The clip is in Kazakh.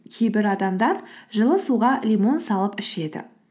кейбір адамдар жылы суға лимон салып ішеді